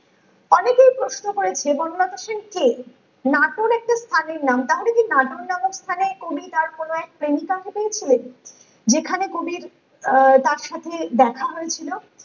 অনেকেই প্রশ্ন করেছে বনলতা সেন কে নাটোর একটা স্থানের নাম তাহলে কি নাটোর নামক স্থানে কবি তার কোনো এক প্রেমিকাকে পেয়েছিলেন যেখানে কবির আহ তার সাথে দেখা হয়েছিল